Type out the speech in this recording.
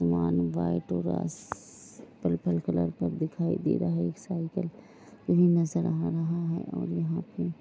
Purple colour का दिखाई दे रहा है। एक साइकिल भी नज़र आ रहा है और यहाँ पे |